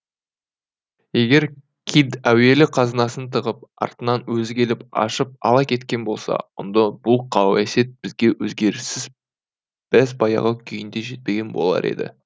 егер кидд әуелі қазынасын тығып артынан өзі келіп ашып ала кеткен болса онда бұл қауесет бізге өзгеріссіз бәз баяғы күйінде жетпеген болар еді